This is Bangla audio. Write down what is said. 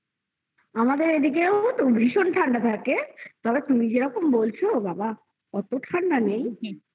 আমাদের এদিকেও ভীষণ ঠান্ডা থাকে তবে তুমি যেরকম বলছো বাবা অত ঠান্ডা নেই